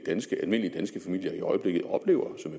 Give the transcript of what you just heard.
ganske almindelige danske familier i øjeblikket oplever som